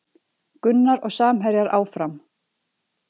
Gunnar og samherjar áfram